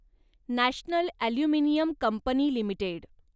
national aluminium company limited